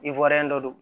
dɔ don